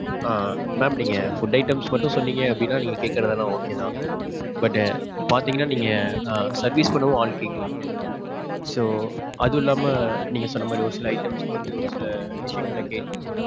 ஆ. mam நீங்க food items மட்டும் சொன்னிங் அப்படின்னா நீங்க கேக்குறதெல்லாம் okay தான். But பாத்திங்கனா நீங்க service பண்ணவும் ஆள் கேக்குறீங்க. so, அது இல்லாம நீங்க சொன்ன மாறி ஒரு சில items க்கு வந்து ஒரு சில விஷயங்கள் எல்லாம் கேட்டிங்க.